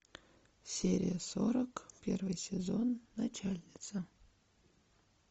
серия сорок первый сезон начальница